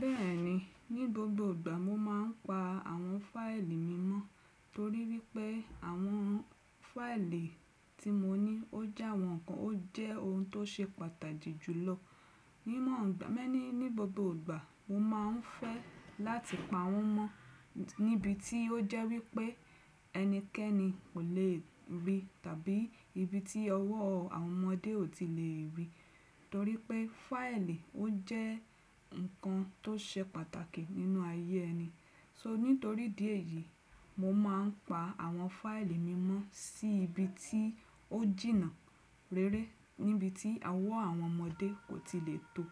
Bẹ́ẹ̀ni, ní gbogbo ìgbà mo máa ń pa àwọn fáìlì mi mọ́ torí wípé àwọn fáìlì tí mo ní ó jẹ́ àwọn nǹkan ó jẹ́ ohun tó ṣe pàtàjì jùlọ. Bẹ́ẹ̀ni, ní gbogbo ìgbà mo máa ń pa àwọn fáìlì mi mọ́ torí wípé àwọn fáìlì tí mo ní ó jẹ́ àwọn nǹkan ó jẹ́ ohun tó ṣe pàtàjì jùlọ. Ní mọ̀ ọ́n gbà, ẹ́ ní ní gbogbo ìgbà mo máa ń fẹ́ láti pa wọ́n mọ́ níbi tí ó jẹ́ wípé ẹnikẹ́ni kò le rí tàbí ibi tí ọwọ́ àwọn ọmọdé ò tí lè rí torí pé fáìlì ó jẹ́ nǹkan tó ṣe pàtàkì nínú ayé ẹni. So nítorí díẹ̀ yìí mo máa ń pa àwọn fáìlì mi mọ́ sí ibi tí ó jìnnà rere níbi tí ọwọ́ àwọn ọmọdé kò tí lè tò ó.